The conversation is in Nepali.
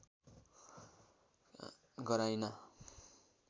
गराइना